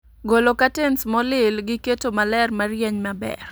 Golo katens molil gi keto maler marieny maber